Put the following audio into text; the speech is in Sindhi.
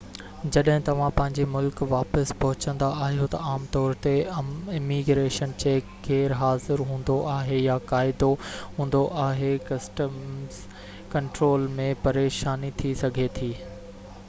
جڏهن توهان پنهنجي ملڪ واپس پهچندا آهيو تہ عام طور تي اميگريشن چيڪ غير حاضر هوندو آهي يا قاعدو هوندو آهي ڪسٽمز ڪنٽرول ۾ پريشاني ٿي سگهي ٿي